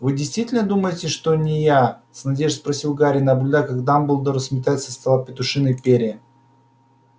вы действительно думаете что это не я с надеждой спросил гарри наблюдая как дамблдор сметает со стола петушиные перья